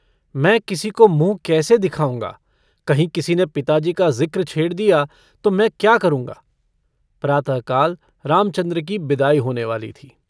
मैं किसी को मुँह कैसे दिखाऊँगा? कहीं किसी ने पिताजी का ज़िक्र छेड़ दिया तो मैं क्या करूँगा? प्रातःकाल रामचन्द्र की बिदाई होने वाली थी।